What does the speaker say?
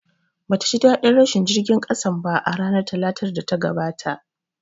Bata ji ɗaɗin rashin jirgin ƙasan ba a ranar Talatar da ta gabata